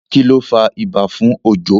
kilo fà ibà fún Ojo?